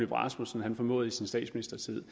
rasmussen formåede i sin statsministertid